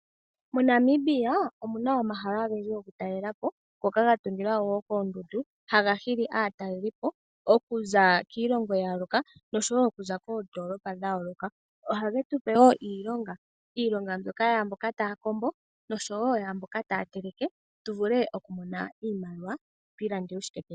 MoNamibia omuna omahala ogendji gokutalelapo ngoka gatungilwa woo koondundu haga hili aatalelipo okuza kiilongo yayooloka noshowo okuza koondolopa dhayooloka. Ohage tupe woo iilonga, iilonga mbyoka yaamboka taya kombo noshowo yaamboka taya teleke tu vule okumona iimaliwa twiilandele oompumbwe dhetu.